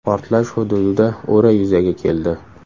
Portlash hududida o‘ra yuzaga keldi.